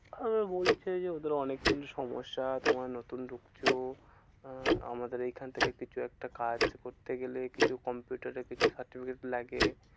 আবার বলছে যে, ওদের অনেকক্ষন সমস্যা তোমরা নতুন ঢুকছো। আহ আমাদের এইখান থেকে কিছু একটা কাজ করতে গেলে কিছু কম্পিউটারে কিছু certificate লাগে।